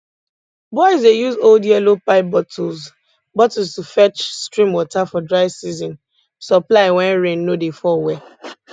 boys dey use old yellow pipe bottles bottles to fetch stream water for dry season supply when rain no dey fall well